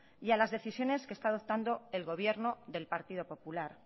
y a las decisiones que está adoptando el gobierno del partido popular